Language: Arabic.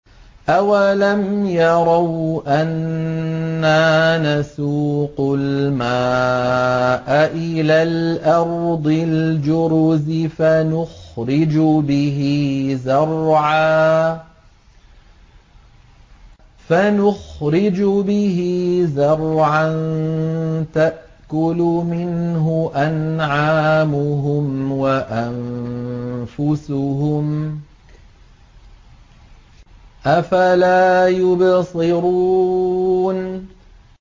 أَوَلَمْ يَرَوْا أَنَّا نَسُوقُ الْمَاءَ إِلَى الْأَرْضِ الْجُرُزِ فَنُخْرِجُ بِهِ زَرْعًا تَأْكُلُ مِنْهُ أَنْعَامُهُمْ وَأَنفُسُهُمْ ۖ أَفَلَا يُبْصِرُونَ